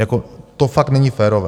Jako to fakt není férové.